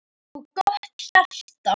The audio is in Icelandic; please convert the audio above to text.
Með stórt og gott hjarta.